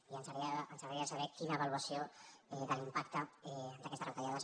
i ens agradaria saber quina avaluació de l’impacte d’aquestes retallades